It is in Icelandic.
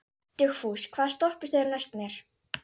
Dugfús, hvaða stoppistöð er næst mér?